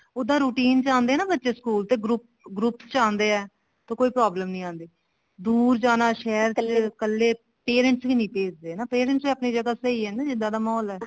ਉੱਦਾਂ routine ਚ ਆਉਂਦੇ ਨਾ ਬੱਚੇ ਸਕੂਲ ਦੇ group ਚ ਆਉਂਦੇ ਆ ਤੇ ਕੋਈ problem ਨੀ ਆਉਂਦੀ ਦੂਰ ਜਾਣਾ ਸ਼ਹਿਰ ਚ ਕੱਲੇ parents ਵੀ ਨੀ ਭੇਜਦੇ parents ਵੀ ਆਪਣੀ ਜਗ੍ਹਾ ਸਹੀ ਨੇ ਜਿੱਦਾਂ ਦਾ ਮਾਹੋਲ ਹੈ